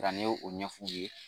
Ne ye o ɲɛf'u ye